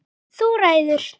Þú ræður.